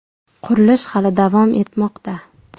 Qurilish hali davom etmoqda.